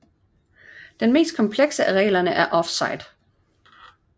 Den mest komplekse af reglerne er offside